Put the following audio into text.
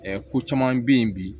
ko caman bɛ yen bi